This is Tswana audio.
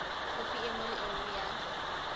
khopi nngwe le nngwe ya